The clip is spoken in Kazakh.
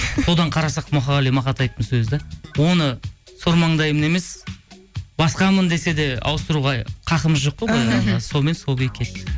содан қарасақ мұқағали мақатаевтың сөзі де оны сормаңдаймын емес басқамын десе де ауыстыруға хақымыз жоқ қой былай қарағанда сонымен сол күйі кетті